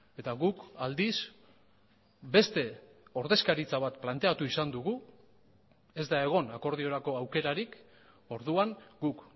eta guk aldiz beste ordezkaritza bat planteatu izan dugu ez da egon akordiorako aukerarik orduan guk